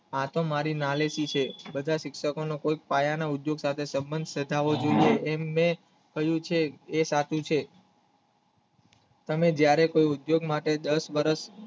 આ તો મારી ના લેતી છે બધા શિક્ષકો નો કોઈક પાયાનો ઉદ્યોગ સાધાવો એમને કહ્યું છે એ સાચું છે તમે જયારે કોઈ ઉદ્યોગ માટે દશ વર્ષ